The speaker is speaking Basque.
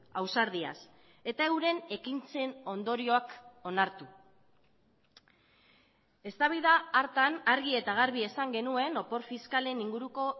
ausardiaz eta euren ekintzen ondorioak onartu eztabaida hartan argi eta garbi esan genuen opor fiskalen inguruko